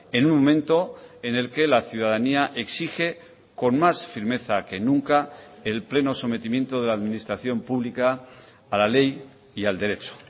en un momento en el que la ciudadanía exige con más firmeza que nunca el pleno sometimiento de la administración pública a la ley y al derecho